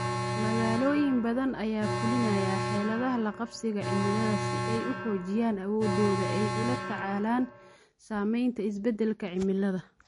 Magaalooyin badan ayaa fulinaya xeeladaha la qabsiga cimilada si ay u xoojiyaan awooddooda ay ula tacaalaan saamaynta isbeddelka cimilada.